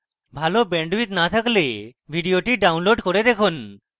ভাল bandwidth না থাকলে ভিডিওটি download করে দেখুন